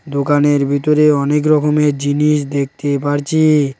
দোকানের ভিতরে অনেক রকমের জিনিস দেখতে পারছি।